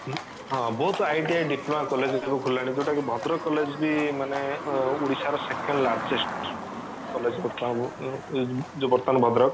ହଁ ବୋହୁତ ITI diploma college ସବୁ ଖୋଲିଲାଣି ଯୋଉଟା କି ଭଦ୍ରକ college ବି ମାନେ ଓଡିଶା ର second largest college ବର୍ତମାନ ଯୋଉ ବର୍ତମାନ ଭଦ୍ରକ